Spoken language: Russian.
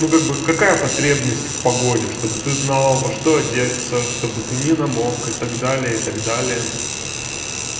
ну как бы какая потребность в погоде чтобы ты знала во что одеться чтобы ты не намок и так далее и так далее